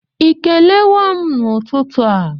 Ị kelewo m n'ụtụtụ a?